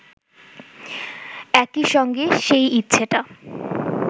একই সঙ্গে সেই ইচ্ছেটা